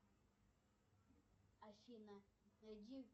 афина найди